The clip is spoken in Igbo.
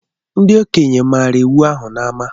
Ndi okenye mara iwu ahụ n’ama